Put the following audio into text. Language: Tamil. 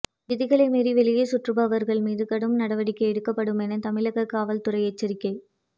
விதிகளை மீறி வெளியே சுற்றுபவர்கள் மீது கடும் நடவடிக்கை எடுக்கப்படும் என தமிழக காவல்துறை எச்சரிக்கை